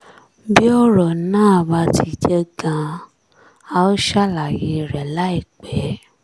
bí ọ̀rọ̀ náà bá ti jẹ́ gan-an a ó ṣàlàyé rẹ̀ láìpẹ́